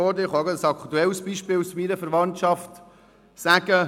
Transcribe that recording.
ich kann von einem aktuellen Beispiel aus meiner Verwandtschaft erzählen: